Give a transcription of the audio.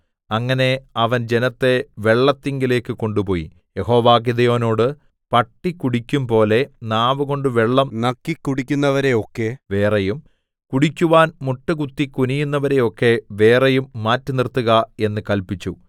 അങ്ങനെ അവൻ ജനത്തെ വെള്ളത്തിങ്കലേക്ക് കൊണ്ടുപോയി യഹോവ ഗിദെയോനോട് പട്ടി കുടിക്കുംപോലെ നാവുകൊണ്ട് വെള്ളം നക്കി കുടിക്കുന്നവരെയൊക്കെ വേറെയും കുടിക്കുവാൻ മുട്ടുകുത്തി കുനിയുന്നവരെയൊക്കെ വേറെയും മാറ്റിനിർത്തുക എന്ന് കല്പിച്ചു